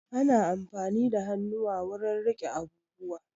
Ana amfani da hannuwa wurin riƙe abubuwa